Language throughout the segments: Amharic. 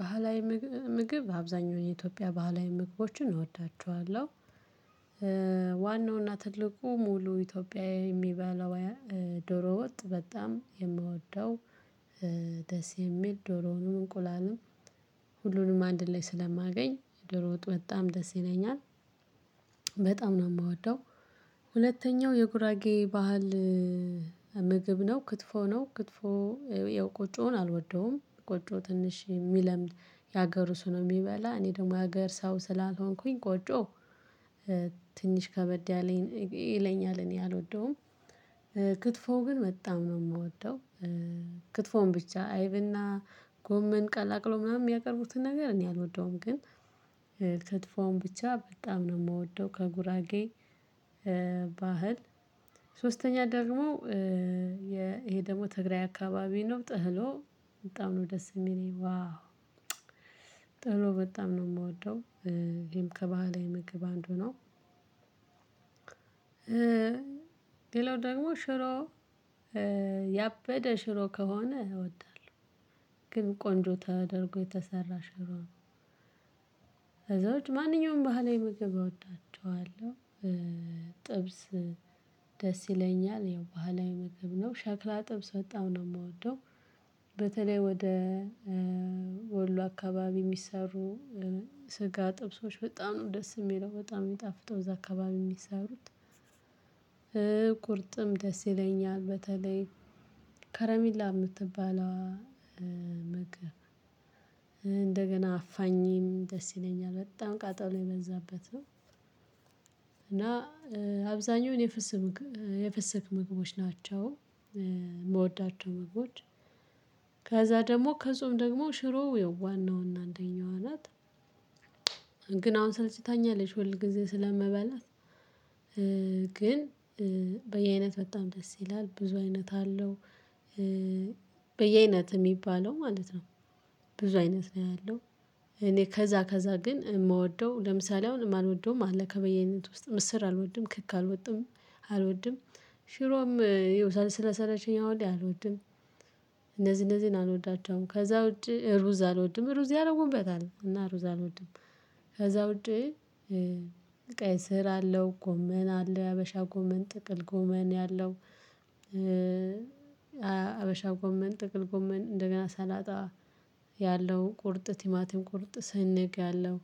ባህላዊ ምግብ አብዛኛው የኢትዮጵያ ባህላዊ ምግቦችን እወዳቸዋለሁ። ዋናው እና ትልቁ ሙሉ ኢትዮጵያዊ የሚበላው ዶሮ ወጥ በጣም ነው የምወደው። ደስ የሚል ዶሮውም እንቁላልም ሁሉንም አንድ ላይ ስለማገኝ ድሮ ወጥ በጣም ደስ ይለኛል። በጣም ነው የምወደው። ሁለተኛው የጉራጌ ባህል ምግብ ነው ክትፎ ነው ክትፎ። የቆጮውን አልወደውም ቆጮ ትንሽ የሚለምድ የሀገሩ ሰው ነው የሚበላ እኔ ደግሞ የሀገር ሰው ስላልሆንኩኝ ቆጮ ትንሽ ከበድ ይለኛል እኔ አልወደውም። ክትፎው ግን መጣም ነው የምወደው። ክትፎን ብቻ አይብና ጎመን ቀላቅሎ ምናምን የሚያቀርቡትን ነገር እኔ አልወደውም ግን ክትፎውን ብቻ በጣም ነው የምወደው። ከጉራጌ ባህል ሶስተኛ ደግሞ ይሄ ደግሞ ትግራይ አካባቢ ነው ጥህሎ ነው። በጣም ነው ደስ የሚለኝ ዋው በጣም ነው የምወደው። ይሄም ከባህላዊ ምግብ አንዱ ነው። ሌላው ደግሞ ሽሮ ያበደ ሽሮ ከሆነ እወዳለሁ። ግን ቆንጆ ተደርጎ የተሰራ ሽሮ ነው ማንኛውም ባህላዊ ምግብ አወዳቸዋለሁ። ጥብስ ደስ ይለኛል ያው ባህላዊ ምግብ ነው ሸክላ ጥብስ በጣም ነው የምወደው። በተለይ ወደ ወሎ አካባቢ የሚሰሩ ስጋ ጥብሶች በጣም ነው ደስ የሚለው በጣም የሚጣፍጠው እዛ አካባቢ የሚሰሩት። ቁርጥም ደስ ይለኛል በተለይ ከረሚላ የምትባለዋ እንደገና አፋኝም ደስ ይለኛል በጣም ቃጠሎ የበዛበት ነው። እና አብዛኛው የፍስክ ምግብ የፍስክ ምግቦች ናቸው። የምወዳቸው ምግቦች ከዛ ደግሞ ከጾም ደግሞ ሽሮ ዋና እና አንደኛው ናት። ግን አሁን ሰልችታኛለች ሁል ጊዜ ስለምበላ ግን በየአይነት በጣም ደስ ይላል ብዙ አይነት አለው። በየአይነት የሚባለው ማለት ነው። ብዙ አይነት ነው ያለው እኔ ከዛ ከዛ ግን የምወደው ለምሳሌ አሁን የማልወደው አለ ከበየ አይነት ውስጥ ምስር አልወድም ክክ አልወድም አልወድም ሽሮም ስለሰለቸኝ አሁን ላይ አልወድም። እነዚህ እነዚህን አልወዳቸውም ከዛ ውጪ ሩዝ አልወድም ሩዝ ያደረጉበታል እና ሩዝ አልወድም። ከዛ ውጪ ቀይ ስራ አለው ጎመን አለው ሀበሻ ጎመን ጥቅል ጎመን አለው። ሀበሻ ጎመን ጥቅል ጎመን እንደገና ሰላጣ ያለው ቁርጥ ቲማቲም ቁርጥ ስንግ ያለው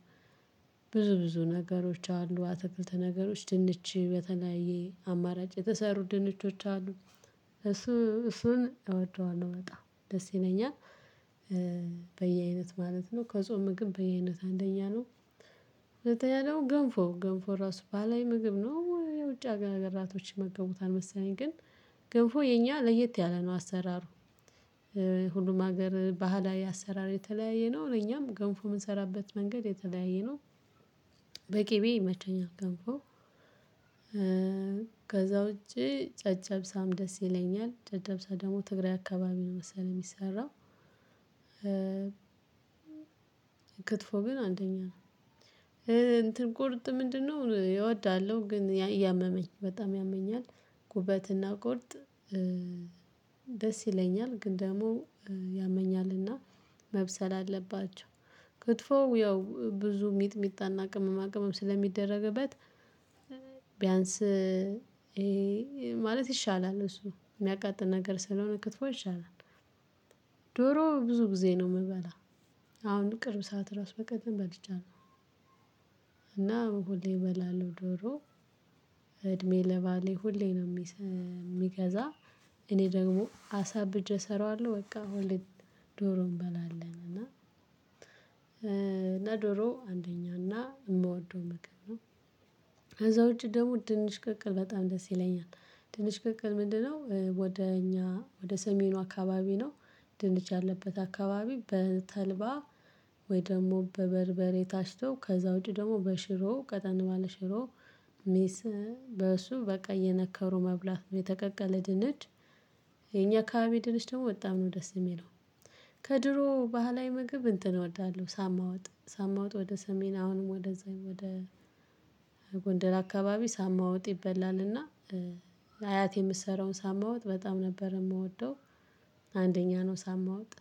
ብዙ ብዙ ነገሮች አሉ አትክልት ነገሮች ድንች በተለያየ አማራጭ የተሰሩ ድንቾች አሉ። እሱ እሱን እወደዋለሁ በጣም ደስ ይለኛል። በየአይነት ማለት ነው ከጾም ምግብ በየአይነት አንደኛ ነው። ሁለተኛ ነው ገንፎ ገንፎ ራሱ ባህላዊ ምግብ ነው የውጭ ሀገራቶች ይመገቡታል መሰለኝ ግን ገንፎ የኛ ለየት ያለ ነው አሰራሩ። ሁሉም ሀገር ባህላዊ አሰራር የተለያየ ነው ለእኛም ገንፎ የምንሰራበት መንገድ የተለያየ ነው። በቅቤ ይመቸኛል ገንፎ። ከዛ ውጪ ጨጨብሳም ደስ ይለኛል ጨብጨሳ ደግሞ ትግራይ አካባቢ ነው መሰለኝ የሚሰራው። ክትፎ ግን አንደኛ ነው። እንትን ቁርጥ ምንድነው እወዳለሁ ግን እያመመኝ በጣም ያመኛል። ጉበትና ቁርጥ ደስ ይለኛል ግን ደግሞ ያመኛልና መብሰል አለባቸው። ክትፎ ያው ብዙ ሚጥሚጣና ቅመማ ቅመም ስለሚደረግበት ቢያንስ ማለት ይሻላል እሱ የሚያቃጥል ነገር ስለሆነ ክትፎ ይሻላል። ዶሮ ብዙ ጊዜ ነው የምበላው አሁን ቅርብ ሰዓት ራስ በቀደም በልቻለሁ። እና ሁሌ እበላለሁ ዶሮ እድሜ ለባሌ ሁሌ ነው የሚገዛ እኔ ደግሞ አሳብጀ እሰራዋለሁ በቃ ሁሌ ዶሮ እንበላለን እና እና ዶሮ አንደኛ እና የምወደው ምግብ ነው። ከዛ ውጪ ደግሞ ድንች ቅቅል በጣም ደስ ይለኛል። ድንች ቅቅል ምንድነው ወደ እኛ ወደ ሰሜኑ አካባቢ ነው። ድንች ያለበት አካባቢ በተልባ ወይም ደግሞ በበርበሬ ታሽቶ ከዛ ውጪ ደግሞ በሽሮ ቀጠን ባለ ሽሮ። በሱ በቃ እየነከሩ መብላት ነው የተቀቀለ ድንች። የኛ አካባቢ ድንች ደግሞ በጣም ነው ደስ የሚለው። ከድሮ ባህላዊ ምግብ እንትን እወዳለሁ ሳማ ወጥ ሳማ ወጥ ወደ ሰሜን አሁንም ወደ ወደ ጎንደር አካባቢ ሳማ ወጥ ይበላልና አያቴ የምትሰራውን ሳማ ወጥ በጣም ነበር የምወደው። አንደኛ ነው ሳማ ወጥ።